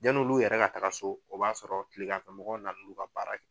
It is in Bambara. Yanni olu yɛrɛ ka taga so o b'a sɔrɔ kilegan fɛ mɔgɔw na na n'u ka baara ye.